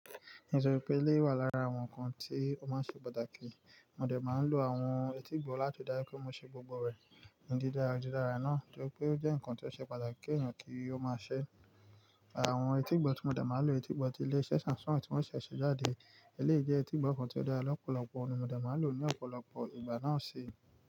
Èso pẹ́ elẹ́yi wà lára àwọn ǹkan tí ó máa ń ṣe pàtàkì, mo dẹ̀ máa ń lo àwọn etígbọ̀ láti ri dájú pé mo sè gbogbo rẹ̀ ní dídára. Ni dídára náà nitori pé ó jẹ́ ǹkan tí ó ṣe pàtàkì kí èèyàn kí ó máa ṣẹ́. Àwọn etígbọ̀ tí mo dẹ̀ máa ń lo, etígbọ̀ ti ilé-iṣẹ́ Samsung tí wọ́n ṣẹ̀ ṣẹ̀ jáde. Eléyìí jẹ́ etígbọ̀ kàn tí ó dára lọ́pọ̀lọpọ̀, mo dẹ̀ máa lò ó ní ọ̀pọ̀lọpọ̀ ìgbà náà ṣi.